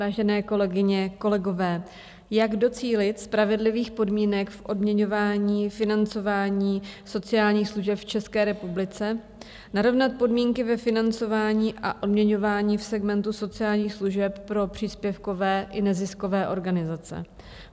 Vážené kolegyně, kolegové, jak docílit spravedlivých podmínek v odměňování, financování sociálních služeb v České republice, narovnat podmínky ve financování a odměňování v segmentu sociálních služeb pro příspěvkové i neziskové organizace?